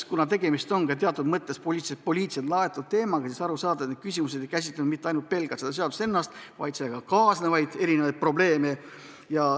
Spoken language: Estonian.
Kuna tegemist on teatud mõttes poliitiliselt laetud teemaga, siis arusaadavalt küsimused ei käsitlenud pelgalt seda eelnõu ennast, vaid sellega kaasnevaid erinevaid probleeme.